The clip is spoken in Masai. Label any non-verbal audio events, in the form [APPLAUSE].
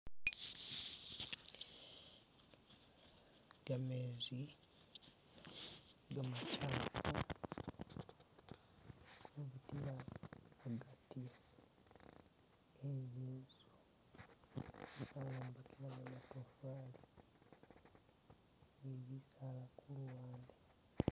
Gameezi gamachafu gali kubitila mugati we zinzu [SKIP]